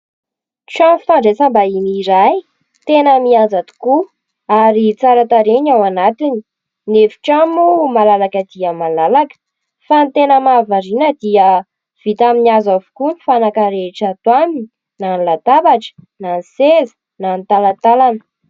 Trano fandraisam-bahiny iray tena mihaja tokoa ary tsara tarehy ny ao anatiny. Ny efitrano moa malalaka dia malalaka, fa ny tena mahavariana dia vita amin'ny azo avokoa ny fanaka rehetra ato aminy na ny latabatra na ny seza na ny talatalana.